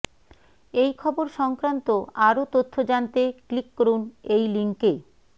এই খবর সংক্রান্ত আরও তথ্য জানতে ক্লিক করুন এই লিঙ্কে